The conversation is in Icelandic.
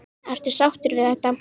Ertu sáttur við þetta?